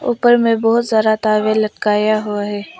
ऊपर में बहुत सारा लटकाया हुआ है।